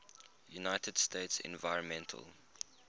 united states environmental